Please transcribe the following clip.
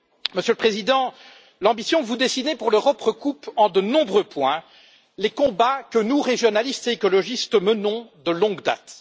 Monsieur le Président, l'ambition que vous dessinez pour l'Europe recoupe en de nombreux points les combats que nous, régionalistes et écologistes, menons de longue date.